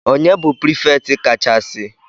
Ọnye na-bụ prefect ka cha si?